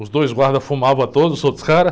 Os dois guardas fumavam todos, os outros caras.